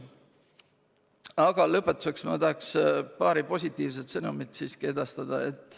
Aga lõpetuseks tahaksin ma paar positiivset sõnumit edastada.